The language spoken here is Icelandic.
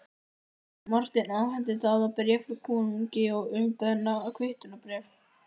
Marteinn afhenti Daða bréf frá konungi og hið umbeðna kvittunarbréf.